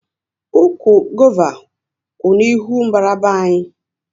Ụkwụ gova kwú n'ihu mbara be anyị